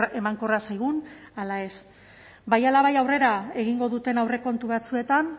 emankorra zaigun ala ez bai ala bai aurrera egingo duten aurrekontu batzuetan